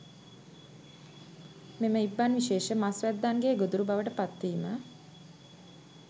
මෙම ඉබ්බන් විශේෂ මස් වැද්දන්ගේ ගොදුරු බවට පත්වීම